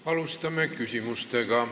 Jätkamegi küsimustega.